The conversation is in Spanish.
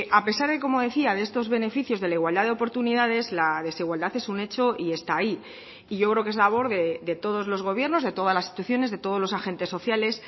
a pesar de como decía de estos beneficios de la igualdad de oportunidades la desigualdad es un hecho y está ahí y yo creo que es labor de todos los gobiernos de todas las instituciones de todos los agentes sociales